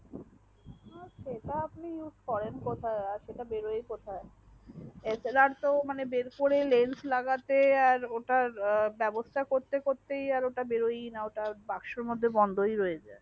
সেটা আপনি use কোরান কোথায় আর সাত বেরোয় কোথায় slr তো মানে বার করে lance লাগাতে আর ওটার ব্যাবস্তা করতে করতে আর ওটাই বেরোয়না ওটা বাক্সর মধ্যে বন্ধই রইয়াছে